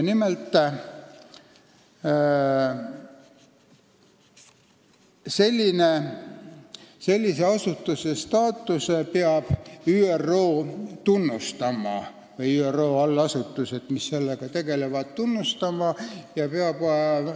Nimelt, sellise asutuse staatust peab tunnustama ÜRO või ÜRO allasutused, mis sellega tegelevad, peavad seda tunnustama.